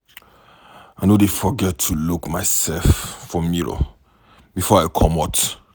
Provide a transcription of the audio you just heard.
I no dey forget to look mysef for mirror before I comot.